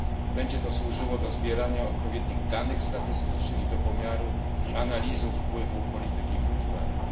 Będzie to służyło do zbierania odpowiednich danych statystycznych i do pomiaru i analizy wpływu polityki kulturalnej.